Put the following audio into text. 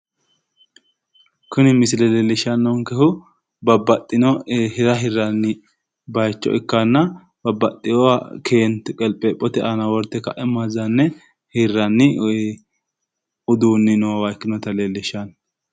Kuni misile leellishshannohu babbaxxino hira hirranniwa bayicho ikkanna babbaxxewoha keente qepheephote aana worte hirranni woy uduunni noowa ikkase leellishshanno